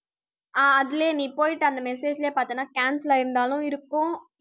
அஹ் அதிலேயே நீ போயிட்டு, அந்த message லேயே பார்த்தன்னா, cancel ஆயிருந்தாலும் இருக்கும்